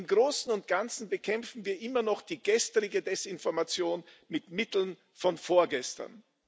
Im Großen und Ganzen bekämpfen wir immer noch die gestrige Desinformation mit Mitteln von vorgestern.